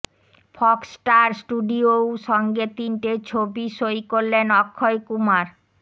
Fox star স্টুডিয়োও সঙ্গে তিনটে ছবি সই করলেন অক্ষয় কুমার